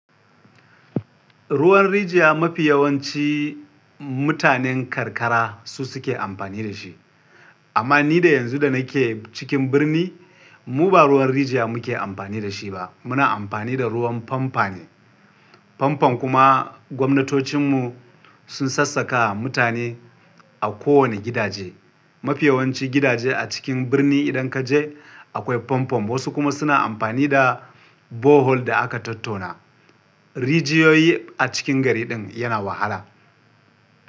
Ruwan rijiya mafi yawanci mutanen karkara su suke amfani da shi. Amma ni da yanzu da nake cikin birni, mu ba ruwan rijiya muke amfani da shi ba. Muna amfani da ruwan pampo ne. Famfam kuma gwamnatocin mu sun sassaƙa wa mutane a kowane gidaje. Mafi yawanci gidaje a cikin birni idan kaje akwai famfam. Wasu kuma suna amfani da bohol da aka tottona. Rijiyoyi a cikin gari din yana wahala.